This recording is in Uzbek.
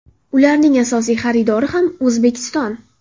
Ularning asosiy xaridori ham O‘zbekiston.